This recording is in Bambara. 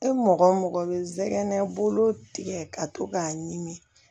E mɔgɔ o mɔgɔ bɛ sɛgɛn bolo tigɛ ka to k'a ɲimi